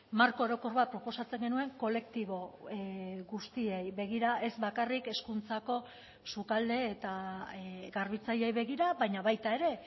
marko orokor bat proposatzen genuen kolektibo guztiei begira ez bakarrik hezkuntzako sukalde eta garbitzaileei begira baina baita ere